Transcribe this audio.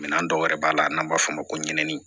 Minɛn dɔw yɛrɛ b'a la n'an b'a fɔ o ma ko ɲɛnɛ